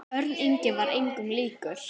Örn Ingi var engum líkur.